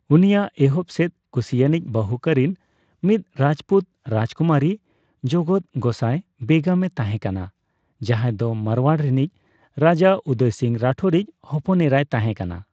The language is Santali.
ᱩᱱᱤᱭᱟᱜ ᱮᱦᱚᱵ ᱥᱮᱫ ᱠᱩᱥᱤᱭᱟᱱᱤᱡ ᱵᱟᱹᱦᱩ ᱠᱚᱨᱤᱱ ᱢᱤᱫ ᱨᱟᱡᱽᱯᱩᱛ ᱨᱟᱡᱽᱠᱩᱢᱟᱨᱤ ᱡᱚᱜᱚᱛ ᱜᱳᱸᱥᱟᱭ ᱵᱮᱜᱚᱢᱮ ᱛᱟᱸᱦᱮ ᱠᱟᱱᱟ, ᱡᱟᱦᱟᱸᱭ ᱫᱚ ᱢᱟᱨᱣᱟᱲ ᱨᱤᱱᱤᱡ ᱨᱟᱡᱟ ᱩᱫᱚᱭ ᱥᱤᱝ ᱨᱟᱴᱷᱳᱨᱤᱡ ᱦᱚᱯᱚᱱ ᱮᱨᱟᱭ ᱛᱟᱦᱮᱸ ᱠᱟᱱᱟ᱾